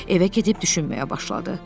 Evə gedib düşünməyə başladı.